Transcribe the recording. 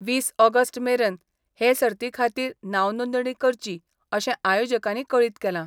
वीस ऑगस्ट मेरन हे सर्तीखातीर नावनोंदणी करची अशे आयोजकानी कळीत केला.